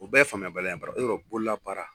O bɛɛ ye faamuyabaliya yɔrɔ bololabaara.